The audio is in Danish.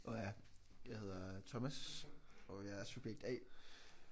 Nå ja. Jeg hedder Thomas og jeg er subjekt A